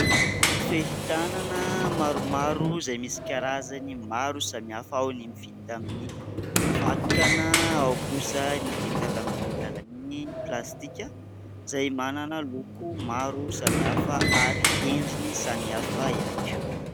Fehi-tanana maromaro izay misy karazany maro samihafa; ao ny vita amin'ny vakana ao kosa ny vita avy amin'ny alalan'ny plastika: izay manana loko maro samihafa ary endriny samiafa ihany koa.